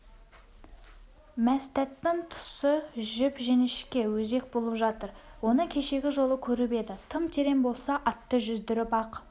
мәстәттің тұсы жіп-жіңішке өзек болып жатыр оны кешегі жолы көріп еді тым терең болса атты жүздіріп-ақ